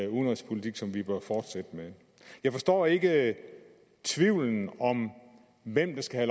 udenrigspolitik som vi bør fortsætte med jeg forstår ikke tvivlen om hvem der skal